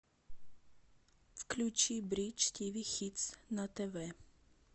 включи бридж тиви хитс на тв